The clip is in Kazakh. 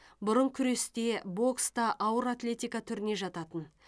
бұрын күрес те бокс та ауыр атлетика түріне жататын